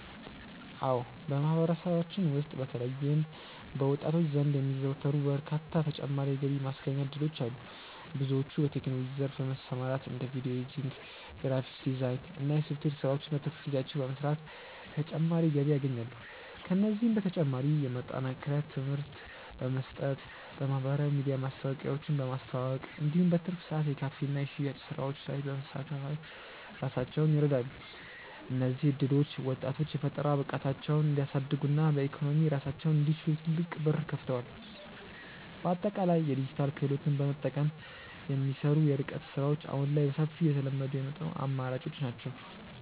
አዎ በማህበረሰባችን ውስጥ በተለይም በወጣቶች ዘንድ የሚዘወተሩ በርካታ ተጨማሪ የገቢ ማስገኛ እድሎች አሉ። ብዙዎች በቴክኖሎጂው ዘርፍ በመሰማራት እንደ ቪዲዮ ኤዲቲንግ፣ ግራፊክስ ዲዛይን እና የሶፍትዌር ስራዎችን በትርፍ ጊዜያቸው በመስራት ተጨማሪ ገቢ ያገኛሉ። ከእነዚህም በተጨማሪ የማጠናከሪያ ትምህርት በመስጠት፣ በማህበራዊ ሚዲያ ማስታወቂያዎችን በማስተዋወቅ እንዲሁም በትርፍ ሰዓት የካፌና የሽያጭ ስራዎች ላይ በመሳተፍ ራሳቸውን ይረዳሉ። እነዚህ እድሎች ወጣቶች የፈጠራ ብቃታቸውን እንዲያሳድጉና በኢኮኖሚ ራሳቸውን እንዲችሉ ትልቅ በር ከፍተዋል። በአጠቃላይ የዲጂታል ክህሎትን በመጠቀም የሚሰሩ የርቀት ስራዎች አሁን ላይ በሰፊው እየተለመዱ የመጡ አማራጮች ናቸው።